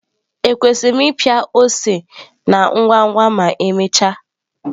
Ekwesịrị m ịpịa ose na ngwa ngwa ma emechaa?